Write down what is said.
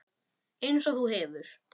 Einsog þú hefur.